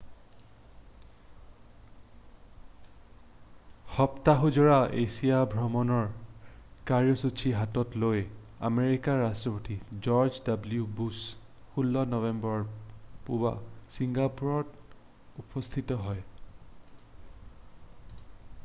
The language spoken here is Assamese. সপ্তাহজোৰা এছিয়া ভ্ৰমণৰ কাৰ্যসূচী হাতত লৈ আমেৰিকাৰ ৰাষ্ট্ৰপতি জৰ্জ ডব্লিউ বুশ্ব 16 নৱেম্বৰৰ পুৱা ছিংগাপুৰত উপস্থিত হয়